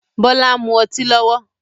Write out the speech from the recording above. Bọlá ń mú ọtí lọ́wọ́